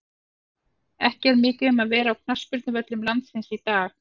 Ekki er mikið um að vera á knattspyrnuvöllum landsins í dag.